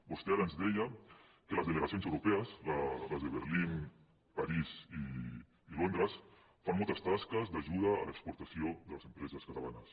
vostè ara ens deia que les delegacions europees les de berlín parís i londres fan moltes tasques d’ajuda a l’exportació de les empreses catalanes